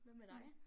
Hvad med dig?